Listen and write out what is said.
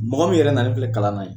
Mɔgɔ min yɛrɛ na le filɛ kalan' ye